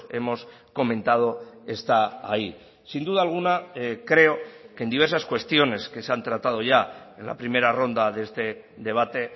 hemos comentado está ahí sin duda alguna creo que en diversas cuestiones que se han tratado ya en la primera ronda de este debate